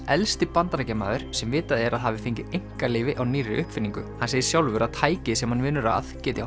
elsti Bandaríkjamaður sem vitað er að hafi fengið einkaleyfi á nýrri uppfinningu hann segir sjálfur að tækið sem hann vinnur að geti